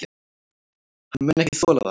Hann mun ekki þola það.